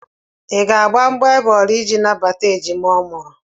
Ị ga-agba mgbọ égbè ole iji nabata ejima ọ mụrụ?